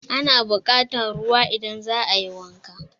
Ana buƙatan ruwa idan za a yi wanka.